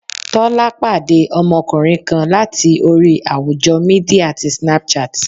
Tọ́lá pàdé ọmọkùnrin kan láti orí àwùjọ Mídíà ti Snapchat.